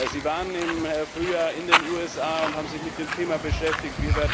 Sie waren im Frühjahr in den USA und haben sich mit dem Thema beschäftigt.